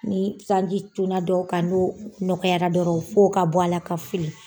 Ni sanji cunna dɔw ka' n'o nɔgɔyara dɔrɔn fo ka b'ala ka fili.